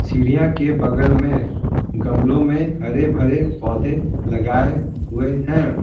सीढ़ियां के बगल में गमलों में हरे भरे पौधे लगाए हुए हैं।